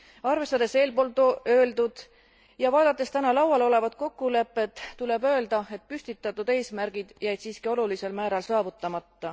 Arvestades eelpool öeldut ja vaadates täna laual olevat kokkulepet, tuleb öelda, et püstitatud eesmärgid jäid siiski olulisel määral saavutamata.